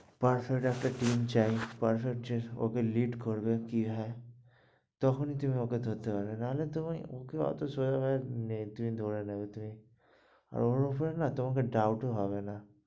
Perfet একটা team চাই, perfectly ওকে lead করবে কি হ্যাঁ তক্ষুনি তুমি ওকে ধরতে পারবে, নাহলে তুমি, ওকে ওতো সহজ ভাবে তুমি ধরে ওর উপরে না doubt ও হবে না.